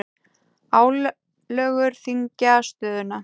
Álögur þyngja stöðuna